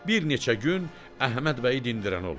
Bir neçə gün Əhməd bəyi dindirən olmur.